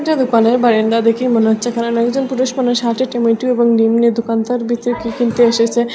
এখানে দোকানের বারান্দা দেখে মনে হচ্ছে এখানে অনেকজন পুরুষ মানুষ হাঁটে কী কিনতে এসেছে।